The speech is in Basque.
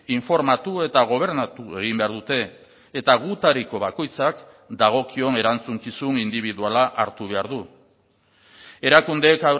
informatu eta gobernatu egin behar dute eta gutariko bakoitzak dagokion erantzukizun indibiduala hartu behar du erakundeek